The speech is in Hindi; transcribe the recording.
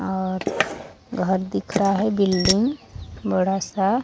और घर दिख रहा है बिल्डिंग बड़ा सा--